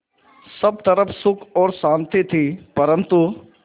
सब तरफ़ सुख और शांति थी परन्तु